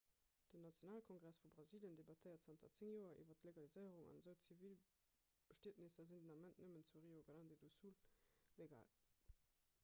den nationalkongress vu brasilien debattéiert zanter 10 joer iwwer d'legaliséierung an esou zivilbestietnesser sinn den ament nëmmen zu rio grande do sul legal